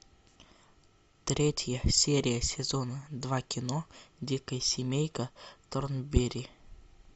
третья серия сезона два кино дикая семейка торнберри